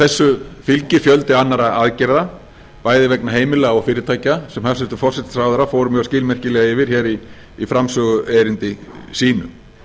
þessu fylgir fjöldi annarra aðgerða bæði vegna heimila og fyrirtækja sem hæstvirtur forsætisráðherra fór ég skilmerkilega yfir hér í framsöguerindi sínu